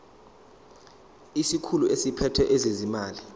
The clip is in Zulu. isikhulu esiphethe ezezimali